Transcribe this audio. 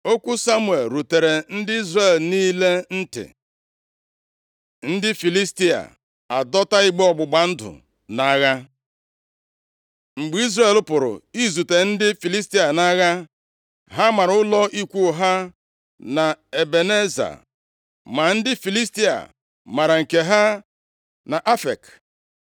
Okwu Samuel rutere ndị Izrel niile ntị. Ndị Filistia adọta igbe ọgbụgba ndụ nʼagha Mgbe Izrel pụrụ izute ndị Filistia nʼagha, ha mara ụlọ ikwu ha na Ebeneza, ma ndị Filistia mara nke ha nʼAfek.